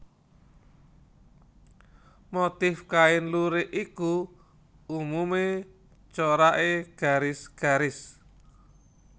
Motif kain lurik iku umumé coraké garis garis